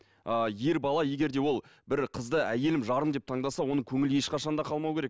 ааа ер бала егер де ол бір қызды әйелім жарым деп таңдаса оның көңілі ешқашан да қалмауы керек